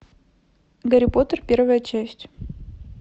гарри поттер первая часть